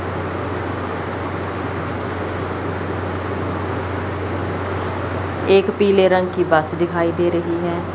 एक पीले रंग की बस दिखाई दे रही है।